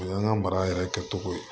O y'an ka mara yɛrɛ kɛ cogo ye